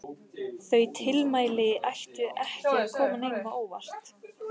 Þau tilmæli ættu ekki að koma neinum á óvart.